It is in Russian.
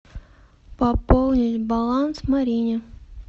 пополнить баланс марине